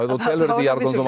þú telur í jarðgöngum